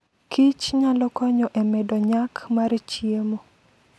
kich nyalo konyo e medo nyak mar chiemo.